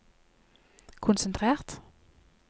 konsentrert